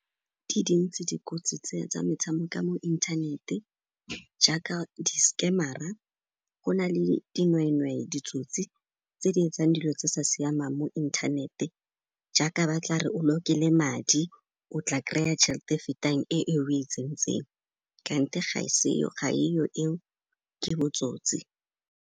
Di dintsi dikotsi tse tsa metshameko mo inthanete jaaka diskemara, go na le dinweenwee, ditsotsi tse di etsang dilo tse sa siamang mo inthanete jaaka ba tla re o lokele madi, o tla kry-a tšhel'te e fetang e o e tsentseng kante ga e yo eo, ke botsotsi.